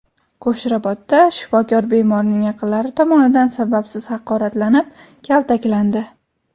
Qo‘shrabotda shifokor bemorning yaqinlari tomonidan sababsiz haqoratlanib, kaltaklandi.